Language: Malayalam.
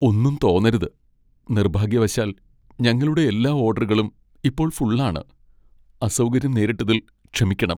ഒന്നും തോന്നരുത്, നിർഭാഗ്യവശാൽ, ഞങ്ങളുടെ എല്ലാ ഓഡറുകളും ഇപ്പോൾ ഫുൾ ആണ്. അസൗകര്യം നേരിട്ടതിൽ ക്ഷമിക്കണം.